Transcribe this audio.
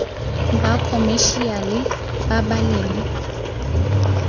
ba khomešiale ba ba leng